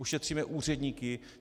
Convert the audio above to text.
Ušetříme úředníky.